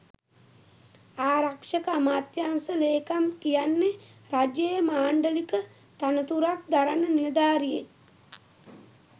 ආරක්ෂක අමාත්‍යාංශ ලේකම් කියන්නෙ රජයේ මාණ්ඩලික තනතුරක් දරන නිලධාරියෙක්.